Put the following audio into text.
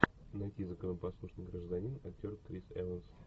найти законопослушный гражданин актер крис эванс